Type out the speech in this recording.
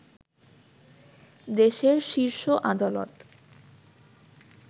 দেশের শীর্ষ আদালত